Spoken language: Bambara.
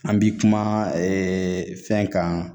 An bi kuma fɛn kan